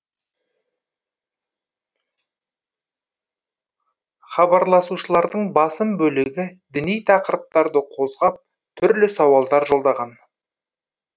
хабарласушылардың басым бөлігі діни тақырыптарды қозғап түрлі сауалдар жолдаған